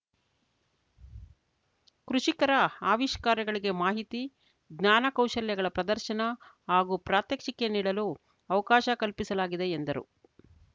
ಕೃಷಿಕರ ಅವಿಷ್ಕಾರಗಳಿಗೆ ಮಾಹಿತಿ ಜ್ಞಾನ ಕೌಶಲ್ಯಗಳ ಪ್ರದರ್ಶನ ಹಾಗೂ ಪ್ರಾತ್ಯಕ್ಷಿಕೆ ನೀಡಲು ಅವಕಾಶ ಕಲ್ಪಿಸಲಾಗಿದೆ ಎಂದರು